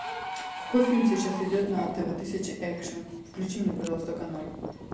какой фильм сейчас идет на тв тысяча экшн включи мне пожалуйста канал